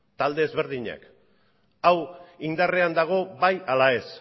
talde ezberdinek hau indarrean dago bai ala ez